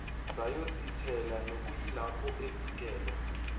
sayosithela nokuyilapho afikelwa